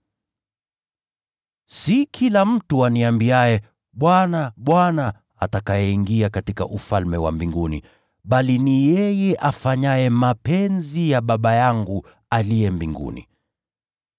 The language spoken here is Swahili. “Si kila mtu aniambiaye, ‘Bwana, Bwana,’ atakayeingia katika Ufalme wa Mbinguni, bali ni yeye afanyaye mapenzi ya Baba yangu aliye mbinguni.